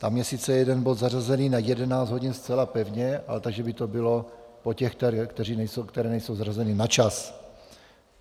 Tam je sice jeden bod zařazený na 11 hodin zcela pevně, ale takže by to bylo po těch, které nejsou zařazeny na čas.